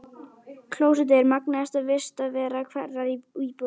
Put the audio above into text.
Klósettið er magnaðasta vistarvera hverrar íbúðar.